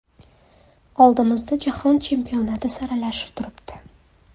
Oldimizda Jahon Chempionati saralashi turibdi.